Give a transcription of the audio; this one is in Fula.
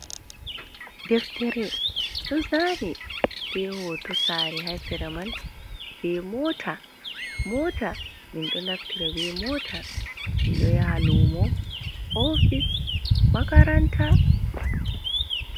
Deftere ɗozani be hoto sare ha sereman be mota, mota minɗo naftire be mota, min ɗo ya halumo, ofis, makaranta.